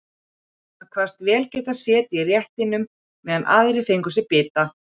Hann kvaðst vel geta setið í réttinum meðan aðrir fengju sér bita.